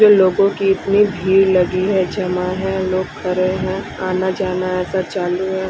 लोगों की इतनी भीड़ लगी है जमा है लोग खड़े हैं आना जाना ऐसा चालू हैं।